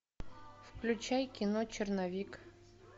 включай кино черновик